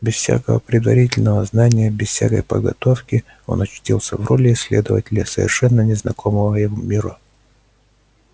без всякого предварительного знания без всякой подготовки он очутился в роли исследователя совершенно незнакомого ему мира